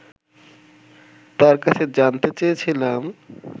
তার কাছে জানতে চেয়েছিলাম